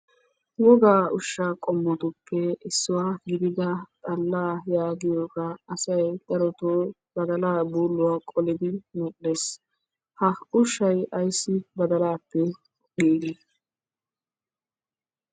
Woggaa ushshaa qommotuppe issuwaa gididda xallaa yaagiyogga asay darotto badallaa buuluwaa qollidi gum'ees. Ha ushshay ayssi badalaappe giigi?